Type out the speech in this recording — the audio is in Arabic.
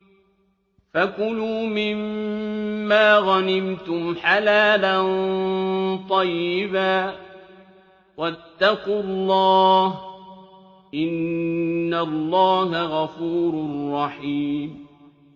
فَكُلُوا مِمَّا غَنِمْتُمْ حَلَالًا طَيِّبًا ۚ وَاتَّقُوا اللَّهَ ۚ إِنَّ اللَّهَ غَفُورٌ رَّحِيمٌ